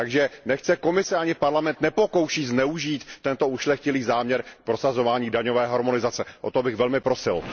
Takže nechť se Komise ani Parlament nepokouší zneužít tento ušlechtilý záměr k prosazování daňové harmonizace, o to bych velmi prosil.